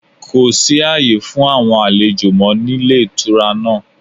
Kò sí àyè fún àwon àlejò mọ́ ní Ilé Ìtura náà